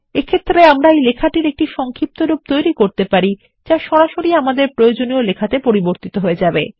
এক্ষেত্রে আমরা এই লেখাটির সংক্ষিপ্তরূপ তৈরী করতে পারি যা সরাসরি আমাদের প্রয়োজনীয় লেখাতেপরিবর্তিত হয়ে যাবে